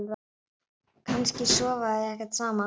Kannski sofa þau ekkert saman?